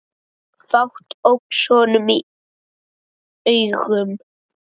Fátt óx honum í augum.